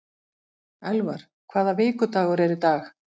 Elvar, hvaða vikudagur er í dag?